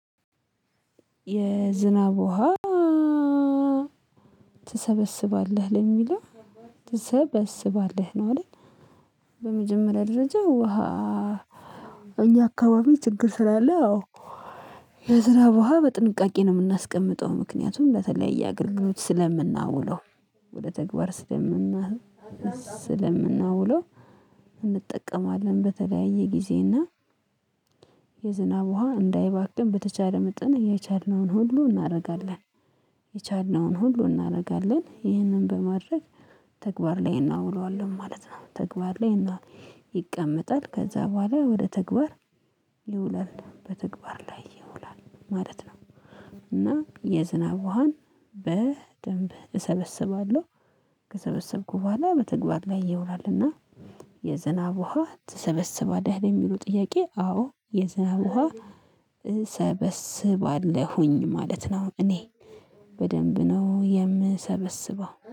የዝናብ ውሃ ትሰበስባለህ ለሚለው ትሰበስባለህ ነው አይደል? በመጀመሪያ ደረጃ ውሃ እኛ አካባቢ ችግር ስላለ አዎ። የዝናብ ውሃ በጥንቃቄ ነው የምናስቀምጠው ምክንያቱም ለተለያየ አገልግሎት ስለምናውለው። ወደ ተግባር ስለምናውለው እንጠቀማለን በተለያየ ጊዜ እና። የዝናብ ውሃ እንዳይባክን በተቻለ መጠን እየቻልነውን ሁሉ እናደርጋለን። የቻልነውን ሁሉ እናደርጋለን ይህንን በማድረግ ተግባር ላይ እናውለዋለን ማለት ነው። ተግባር ላይ እና ይቀመጣል ከዛ በኋላ ወደ ተግባር ይውላል በተግባር ላይ ይውላል ማለት ነው። እና የዝናብ ውሃን በደንብ እሰበስባለሁ። ከሰበሰብኩ በኋላ በተግባር ላይ ይውላል። እና የዝናብ ውሃ ትሰበስባለህ የሚሉ ጥያቄ? አዎ የዝናብ ውሃ እሰበስባለሁኝ ማለት ነው። እኔ በደንብ ነው የምሰበስበው